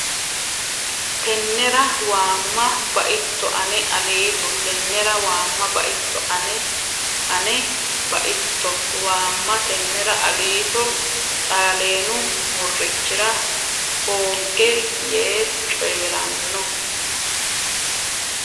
Tennera waamma baitto Ane Aliito Tennera waamma baitto Ane Ane baitto waamma Tennera Aliito Xaaleenu murrichira hoogge yee coyi ranno !